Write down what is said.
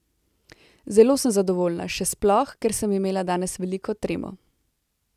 Zelo sem zadovoljna, še sploh, ker sem imela danes veliko tremo.